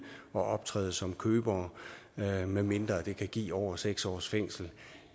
og optræde som købere medmindre det kan give over seks års fængsel